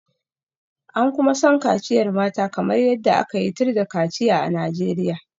An kuma san kaciyar mata kamar yadda aka yi tir da kaciya a Najeriya.